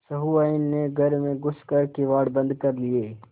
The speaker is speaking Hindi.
सहुआइन ने घर में घुस कर किवाड़ बंद कर लिये